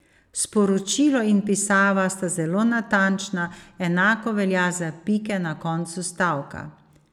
Sporočilo in pisava sta zelo natančna, enako velja za pike na koncu stavka.